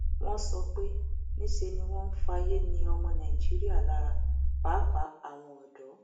wọn sọ pé níṣe ni wọn ń fayé ni ọmọ nàìjíríà lára pàápàá àwọn ọdọ